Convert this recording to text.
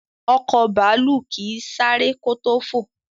Ọkọ̀ bàálù kín sáré kò to fọ.